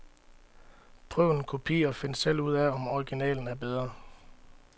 Prøv en kopi og find selv ud af, om originalen er bedre.